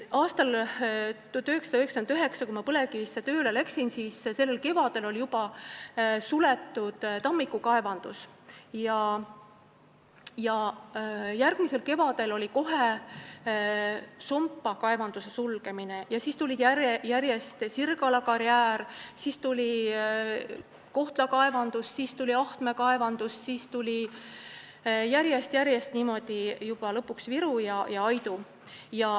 Aastal 1999, kui ma sinna tööle läksin, oli kevadel juba suletud Tammiku kaevandus, järgmisel kevadel oli Sompa kaevanduse sulgemine ja siis tulid järjest Sirgala karjäär, Kohtla kaevandus, Ahtme kaevandus, läks järjest-järjest niimoodi ning lõpuks tulid Viru ja Aidu.